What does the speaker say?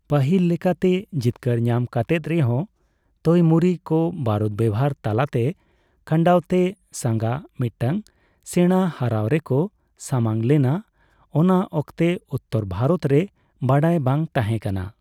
ᱯᱟᱹᱦᱤᱞ ᱞᱮᱠᱟᱛᱮ ᱡᱤᱛᱠᱟᱹᱨ ᱧᱟᱢ ᱠᱟᱛᱮᱫ ᱨᱮᱦᱚᱸ, ᱛᱳᱭᱢᱩᱨᱤ ᱠᱚ ᱵᱟᱹᱨᱩᱫ ᱵᱮᱣᱦᱟᱨ ᱛᱟᱞᱟᱛᱮ ᱠᱷᱟᱱᱣᱟᱛᱮ ᱥᱟᱝᱜᱟ ᱢᱤᱫᱴᱟᱝ ᱥᱮᱬᱟ ᱦᱟᱹᱨᱟᱹᱣ ᱨᱮᱠᱚ ᱥᱟᱢᱟᱝ ᱞᱮᱱᱟ, ᱚᱱᱟ ᱚᱠᱛᱮ ᱩᱛᱛᱚᱨ ᱵᱷᱟᱨᱚᱛ ᱨᱮ ᱵᱟᱰᱟᱭ ᱵᱟᱝ ᱛᱟᱦᱮᱸᱠᱟᱱᱟ ᱾